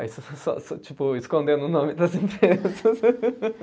Aí, tipo, escondendo o nome das empresas.